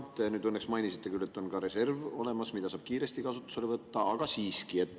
Te nüüd õnneks mainisite küll, et on olemas ka reserv, mida saab kiiresti kasutusele võtta, aga siiski.